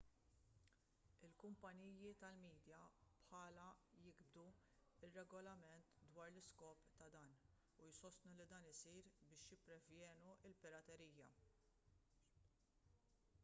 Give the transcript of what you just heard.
il-kumpaniji tal-midja bħala jigdbu regolarment dwar l-iskop ta' dan u jsostnu li dan isir biex jipprevjenu l-piraterija